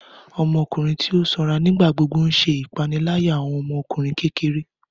Ọmọkunrin ti o sanra nigbagbogbo n ṣe ipanilaya awọn ọmọkunrin kekere.